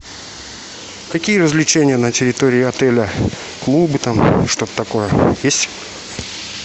какие развлечения на территории отеля клубы там что то такое есть